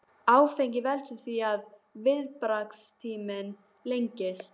Áfengi veldur því að viðbragðstíminn lengist.